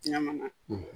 Ɲaman